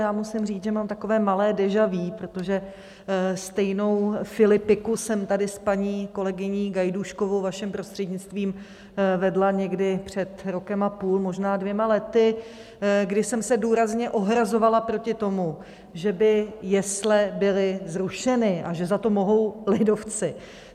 Já musím říct, že mám takové malé déja vu, protože stejnou filipiku jsem tady s paní kolegyní Gajdůškovou, vaším prostřednictvím, vedla někdy před rokem a půl, možná dvěma lety, kdy jsem se důrazně ohrazovala proti tomu, že by jesle byly zrušeny a že za to mohou lidovci.